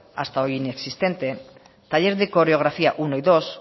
hasta hoy inexistente taller de coreografía uno y dos